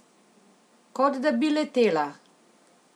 Kot da bi letela!